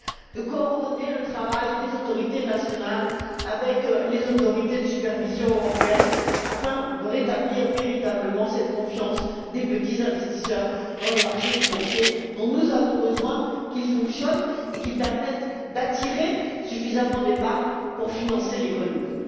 de coordonner le travail des autorités nationales avec les autorités de supervision européennes, afin de rétablir véritablement cette confiance des petits investisseurs dans les marchés financiers, dont nous avons besoin qu'ils fonctionnent et qu'ils permettent d'attirer suffisamment d'épargne pour financer l'économie.